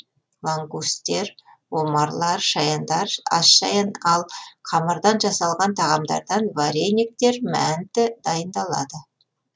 лангустер омарлар шаяндар асшаян ал қамырдан жасалған тағамдардан варениктер мәнті дайындалынады